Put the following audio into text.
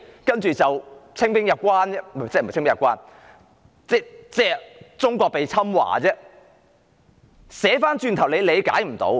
不是清兵入關，而是導致中國被入侵，這是無法理解的。